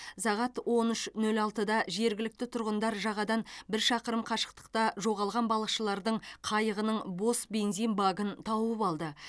сағат он үш нөл алтыда жергілікті тұрғындар жағадан бір шақырым қашықтықта жоғалған балықшылардың қайығының бос бензин багын тауып алды